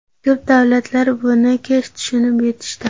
Ko‘p davlatlar buni kech tushunib yetishdi.